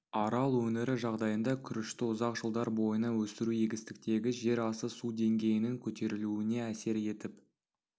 арал өңірі жағдайында күрішті ұзақ жылдар бойына өсіру егістіктегі жер асты су деңгейінің көтерілуіне әсер етіп